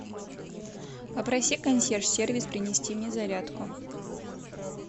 попроси консьерж сервис принести мне зарядку